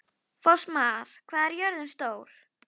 Fossmar, hvað er jörðin stór?